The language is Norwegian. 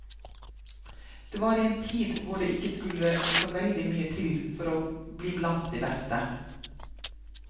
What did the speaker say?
Det var i en tid hvor det ikke skulle så veldig mye til for å bli blant de beste.